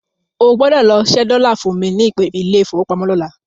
O gbọ́dọ̀ lọ ṣẹ́ dọ́là fún mi ní ilé ìfowópamọ́ lọ́la.